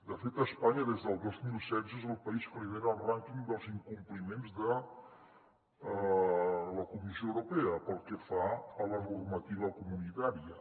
de fet a espanya des del dos mil setze és el país que lidera el rànquing dels incompliments de la comissió europea pel que fa a la normativa comunitària